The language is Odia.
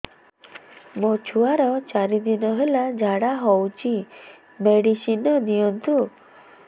ମୋର ଛୁଆର ଚାରି ଦିନ ହେଲା ଝାଡା ହଉଚି ମେଡିସିନ ଦିଅନ୍ତୁ